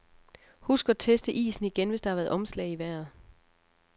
Husk at teste isen igen, hvis der har været omslag i vejret.